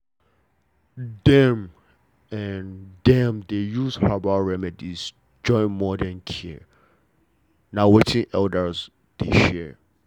dem dey use herbal remedies join modern care na wetin elders dey share